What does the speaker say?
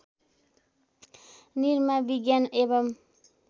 निरमा विज्ञान एवं